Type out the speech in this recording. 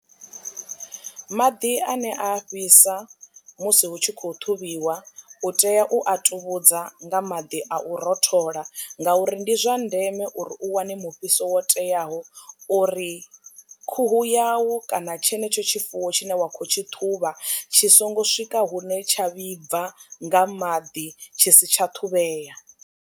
Maḓi ane a fhisa musi hu tshi khou ṱhuvhiwa u tea u a tuvhudza nga maḓi a u rothola ngauri ndi zwa ndeme uri u wane mufhiso wo teyaho uri khuhu yau kana tshenetsho tshifuwo tshine wa khou tshi ṱhuvha tshi songo swika hune tsha vhibva nga maḓi tshi si tsha ṱhuvhea.